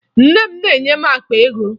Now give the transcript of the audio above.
Nne m na-enye m akpa ego